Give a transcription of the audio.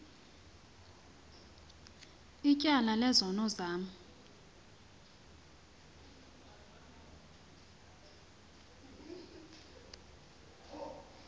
ityala lezono zam